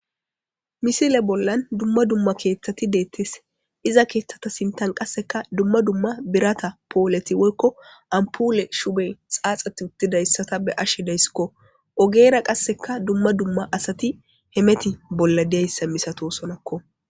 Misile bollan duma duma ketati detees iza kethata sinthan qasika duma duma birata poleti woyiko ampule shuboyi xafetizayissa beashe deayis ogera qasika duma duma asati hemeti bollan diyasa misatosonako